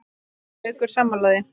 Er Haukur sammála því?